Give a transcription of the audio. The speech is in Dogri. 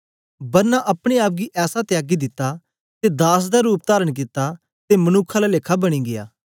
बरना अपने आप गी ऐसा त्यागी दिता ते दास दा रूप तारण कित्ता ते मनुक्ख आला लेखा बनी गीया